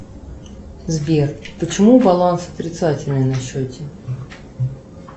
сбер почему баланс отрицательный на счете